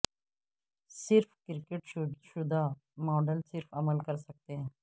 صرف کرکٹ شدہ ماڈل صرف عمل کر سکتے ہیں